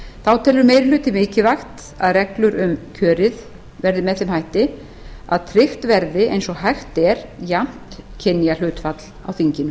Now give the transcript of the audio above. þá telur meiri hlutinn mikilvægt að reglur um kjörið verði með þeim hætti að tryggt verði eins og hægt er jafnt kynjahlutfall á þinginu